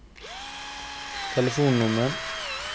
telefonnummer